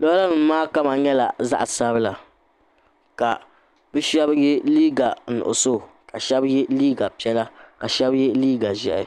lɔra nima maa kama nyɛla zaɣi sabila ka bi shɛba ye 'iiga nuɣiso ka shɛba ye liiga piɛla ka shɛba ye liiga zɛhi.